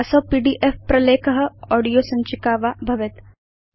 असौ पीडीएफ प्रलेख ऑडियो सञ्चिका वा भवेत्